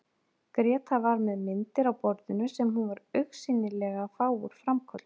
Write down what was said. Gréta var með myndir á borðinu sem hún var augsýnilega að fá úr framköllun.